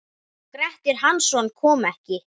Grettir Hansson kom ekki.